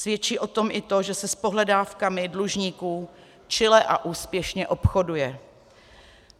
Svědčí o tom i to, že se s pohledávkami dlužníků čile a úspěšně obchoduje.